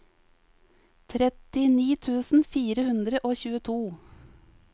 trettini tusen fire hundre og tjueto